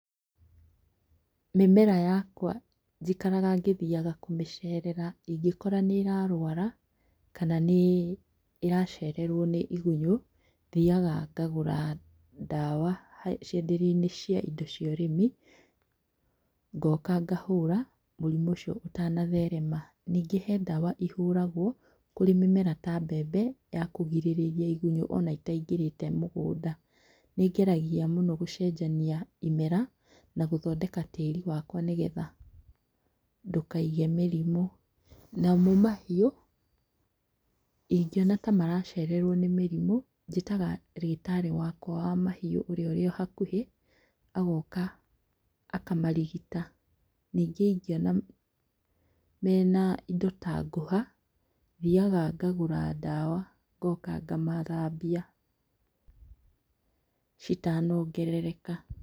Mĩmera yakwa njikaraga ngĩthiaga kũmĩcerera ingĩkora nĩĩrarwara. kana nĩĩracererwo nĩ igunyũ. thiaga ngagũra ndawa cienderioinĩ cia indo cia ũrimi. ngoka ngahũra mũrimũ ũcio ũtana therema. Ningĩ hee ndawa ihũragwo harĩ mĩmera ta mbembe ya kũgirĩrĩria igunyũ ona itaingĩrĩte mũgũnda. Nĩngeragia mũno gũcenjania imera gũthondeka tĩri wakwa nĩgetha ndũkaige mĩrimũ. Namo mahiũ ingĩona ta maracererwo nĩ mĩrimũ njĩtaga ndagĩtarĩ wakwa wa mahiũ ũria ũrĩ o hakuhi, agoka akamarigita ningĩ ingĩona mena indo ta ngũha, thiaga ngagũra ndawa ngoka ngamathambia, citanongerereka.